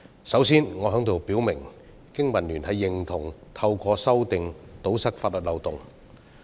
首先，我在這裏表明，經民聯認同透過修例堵塞法律漏洞。